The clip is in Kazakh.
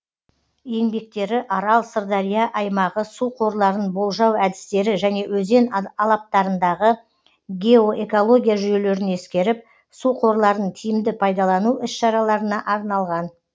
еңбектері арал сырдария аймағы су қорларын болжау әдістері және өзен алаптарындағы геоэкология жүйелерін ескеріп су қорларын тиімді пайдалану іс шараларына арналған